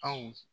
Anw